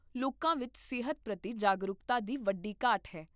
ਲੋਕਾਂ ਵਿੱਚ ਸਿਹਤ ਪ੍ਰਤੀ ਜਾਗਰੂਕਤਾ ਦੀ ਵੱਡੀ ਘਾਟ ਹੈ